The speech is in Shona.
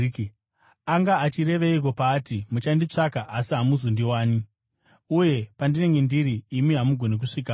Anga achireveiko paati, ‘Muchanditsvaka, asi hamuchazondiwani,’ uye ‘Pandinenge ndiri, imi hamugoni kusvikapo’?”